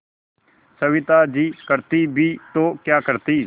सविता जी करती भी तो क्या करती